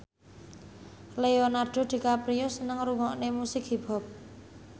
Leonardo DiCaprio seneng ngrungokne musik hip hop